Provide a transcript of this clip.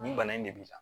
Nin bana in de b'i la